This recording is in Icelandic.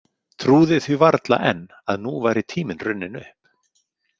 Trúði því varla enn að nú væri tíminn runninn upp.